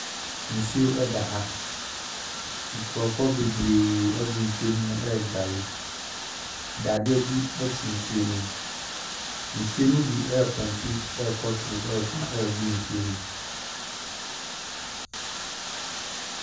Nsuo ɛda ha. Nkrɔfoɔ bebree gu nsuo no mu reguare. Dadeɛ bi si nsuo no mu. Nsuo no birepɔmpe rekɔ soro resan regu nsuo no mu.